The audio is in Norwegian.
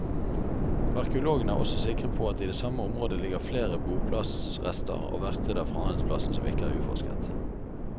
Arkeologene er også sikre på at det i samme område ligger flere boplass rester og verksteder fra handelsplassen som ikke er utforsket.